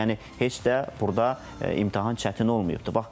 Yəni heç də burda imtahan çətin olmayıbdır.